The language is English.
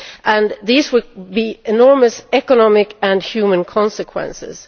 and there will be enormous economic and human consequences.